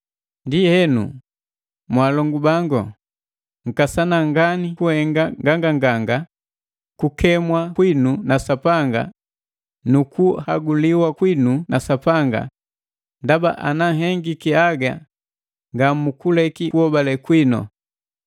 Ndienu, mwalongu bangu nkasana ngani kuhenga nganganganga kukemwa kwinu na Sapanga nukuhaguliwa kwinu na Sapanga ndaba ana nhengiki haga nga mukuleki kuhobale kwinu;